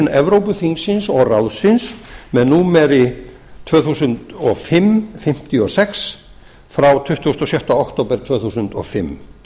evrópuþingsins og ráðsins númer tvö þúsund og fimm fimmtíu og sex e b frá tuttugasta og sjötta október tvö þúsund og fimm